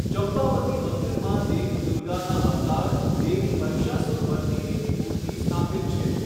ચંપાવતી મંદિરમાં દેવી દુર્ગાના અવતાર, દેવી મહિસાસુરમર્દિનીની મૂર્તિ સ્થાપિત છે.